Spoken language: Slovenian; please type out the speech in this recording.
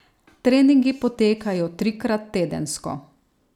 Treningi potekajo trikrat tedensko.